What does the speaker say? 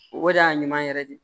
O de y'a ɲuman yɛrɛ de